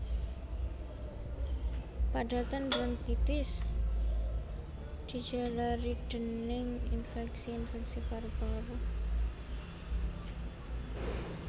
Padatan bronkitis dijalari dèning infèksi infèksi paru paru